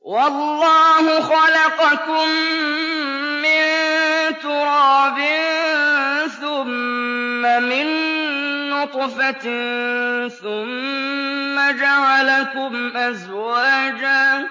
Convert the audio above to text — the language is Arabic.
وَاللَّهُ خَلَقَكُم مِّن تُرَابٍ ثُمَّ مِن نُّطْفَةٍ ثُمَّ جَعَلَكُمْ أَزْوَاجًا ۚ